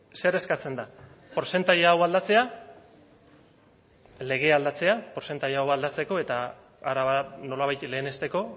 zer eskatzen da portzentai hau aldatzea lege aldatzea portzentai hau aldatzeko eta araba nolabait lehenesteko